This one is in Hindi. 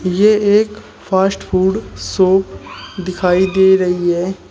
ये एक फास्ट फूड शॉप दिखाई दे रही है।